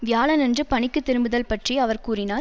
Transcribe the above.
வியாழனன்று பணிக்கு திரும்புதல் பற்றி அவர் கூறினார்